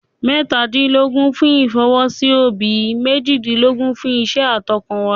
Mẹ́tàdínlógún fún ìfọwọ́sí òbí, méjìdínlógún fún iṣẹ́ àtọkànwá.